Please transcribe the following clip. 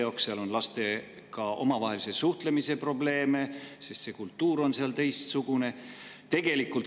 Probleeme on ka laste omavahelises suhtluses, sest kultuur on seal teistsugune.